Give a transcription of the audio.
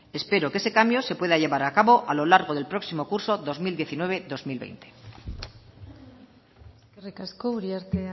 espero que ese cambio se pueda llevar a cabo a lo largo del próximo curso dos mil diecinueve dos mil veinte eskerrik asko uriarte